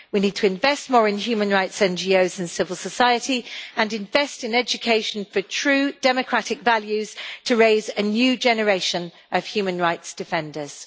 We need to invest more in human rights NGOs and civil society and invest in education for true democratic values to raise a new generation of human rights defenders.